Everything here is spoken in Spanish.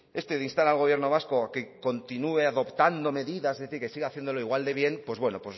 este de instar al gobierno vasco a que continúe adoptando medidas es decir que siga haciéndolo igual de bien pues bueno